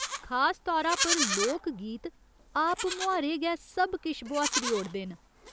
खास तौरा पर लोक गीत आपमुहारे गै सब किश बुहास्सरी ओड़दे न।